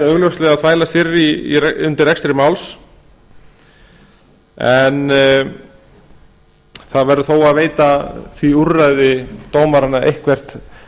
augljóslega að þvælast fyrir undir rekstri máls en það verður þó að veita því úrræði dómaranna eitthvert